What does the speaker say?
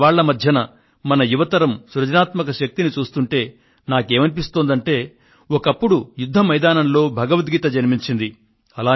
ఈ సవాళ్ళ మధ్య మన యువతరం సృజనాత్మక శక్తిని చూస్తుంటే నాకేమనిపిస్తోందంటే ఒకప్పుడు యుద్ధ మైదానంలో భగవద్గీత జన్మించింది